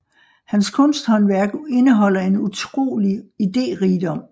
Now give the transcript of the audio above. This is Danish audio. Hans kunsthåndværk indeholder en utrolig iderigdom